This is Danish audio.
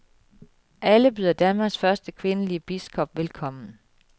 Alle byder Danmarks første kvindelige biskop velkommen.